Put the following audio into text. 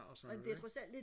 og sådan noget ikke